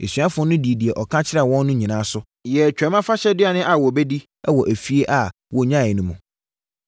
Asuafoɔ no dii deɛ ɔka kyerɛɛ wɔn no so, yɛɛ Twam Afahyɛ aduane a wɔbɛdi wɔ efie a wɔnyaeɛ no mu.